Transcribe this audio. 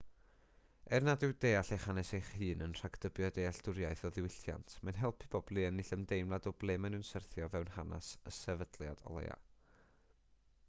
er nad yw deall eich hanes eich hun yn rhagdybio dealltwriaeth o ddiwylliant mae'n helpu pobl i ennill ymdeimlad o ble maen nhw'n syrthio o fewn hanes y sefydliad o leiaf